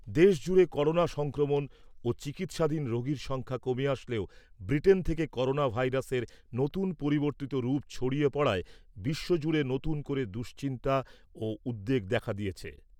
দেশজুড়ে করোনা সংক্রমণ ও চিকিৎসাধীন রোগীর সংখ্যা কমে আসলেও ব্রিটেন থেকে করোনা ভাইরাসের নতুন পরিবর্তিত রূপ ছড়িয়ে পড়ায় বিশ্বজুড়ে নতুন করে দুশ্চিন্তা ও উদ্বেগ দেখা দিয়েছে।